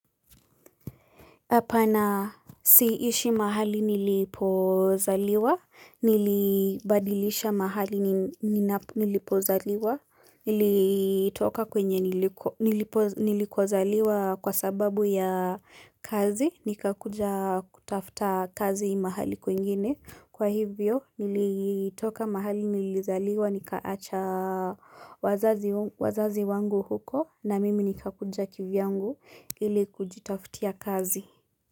Apana siishi mahali nilipozaliwa, nilibadilisha mahali nilipozaliwa, nilitoka kwenye niliku nilikozaliwa kwa sababu ya kazi, nikakuja kutafta kazi mahali kwingine. Kwa hivyo nilitoka mahali nilizaliwa nikaacha wazazi wangu huko na mimi nikakuja kivyangu ili kujitaftia kazi.